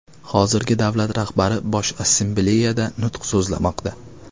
Hozirda davlat rahbari Bosh Assambleyada nutq so‘zlamoqda.